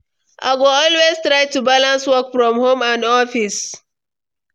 I go always try to balance work from home and office.